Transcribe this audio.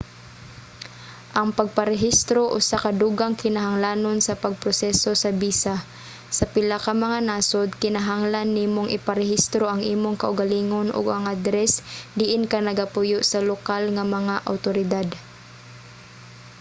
ang pagparehistro usa ka dugang kinahanglanon sa pagproseso sa bisa. sa pila ka mga nasod kinahanglan nimong iparehistro ang imong kaugalingon ug ang adres diin ka nagapuyo sa lokal nga mga awtoridad